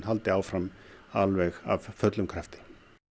haldi áfram af fullum krafti